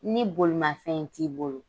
Ni bolimafɛn t'i bolo.